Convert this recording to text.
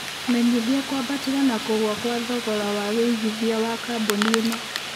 menyĩthĩa kũambatira na kũgũa Kwa thogora wa wĩigĩthĩa wa kambũni ĩno